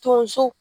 Tonso